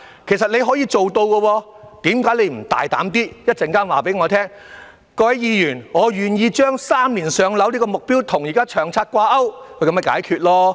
其實，你是可以做到的，為何你不大膽一點地在稍後告訴我們：各位議員，我願意將"三年上樓"這個目標與現時的《長策》掛鈎？